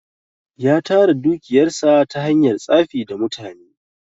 Ya tara dukiyar sa ta hanyar tsafi da mutane.